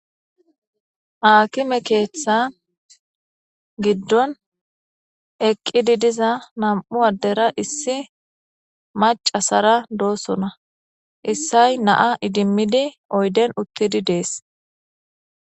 Aakime keeththa giddon eqqidi diza nam'u addera issi macasara doosona issay naa idimmidi oyden uttidi dees.